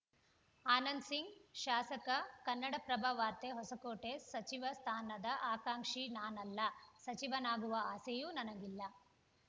ಆನಂದ್‌ ಸಿಂಗ್‌ ಶಾಸಕ ಕನ್ನಡಪ್ರಭ ವಾರ್ತೆ ಹೊಸಕೋಟೆ ಸಚಿವ ಸ್ಥಾನದ ಆಕ್ಷಾಂಕಿ ನಾನಲ್ಲ ಸಚಿವನಾಗುವ ಆಸೆಯೂ ನನಗಿಲ್ಲ